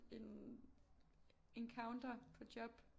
En encounter på job